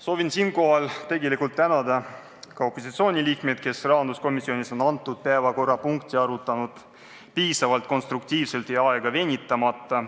Soovin siinkohal tegelikult tänada ka opositsioonisaadikuid, kes on rahanduskomisjonis seda eelnõu arutanud piisavalt konstruktiivselt ja aega venitamata.